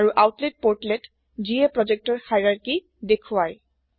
আৰু outlet portlets যিয়ে project ৰ হাইৰাৰ্কী দেখুৱাই